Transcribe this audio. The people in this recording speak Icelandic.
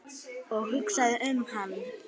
Og hugsa um hann.